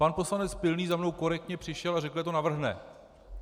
Pan poslanec Pilný za mnou korektně přišel a řekl, že to navrhne.